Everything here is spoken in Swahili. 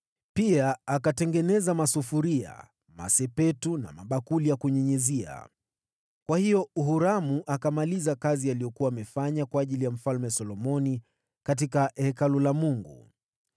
Pia akatengeneza masufuria, masepetu na mabakuli ya kunyunyizia. Kwa hiyo Huramu akakamilisha kazi katika Hekalu la Mungu kama vile Mfalme Solomoni alikuwa amemwagiza, yaani: